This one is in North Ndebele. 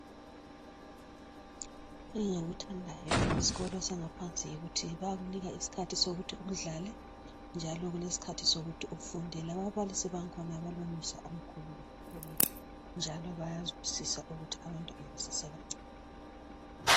Engythandayo nge sikolo semfundo engaphansi yikuyhi bayakunika isikhathi sokuthi udlale bephinde futhi bekunike isikhathi sokuthi ufunde laba balisi bayazwisisa ukuthi abafundi baseba ncane